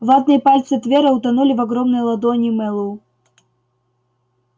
ватные пальцы твера утонули в огромной ладони мэллоу